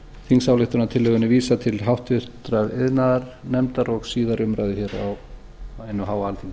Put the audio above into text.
þingsályktunartillögunni vísað til háttvirtrar iðnaðarnefndar og síðari umræðu hér á hinu háa alþingi